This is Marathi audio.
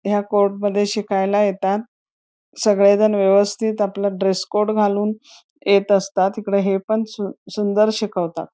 ह्या कोर्ट मध्ये शिकला येतात सगळेजण व्यवस्तीत आपलं ड्रेस कोड घालून येत असतात हिकडं हे पण सुंदर शिकवतात.